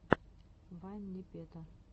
вайн непета